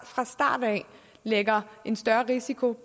fra starten lægger en større risiko